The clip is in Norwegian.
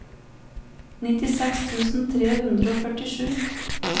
nittiseks tusen tre hundre og førtisju